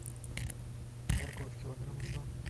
морковь килограмма два